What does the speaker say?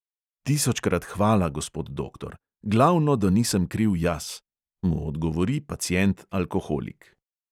"Tisočkrat hvala, gospod doktor: glavno, da nisem kriv jaz," mu odgovori pacient alkoholik.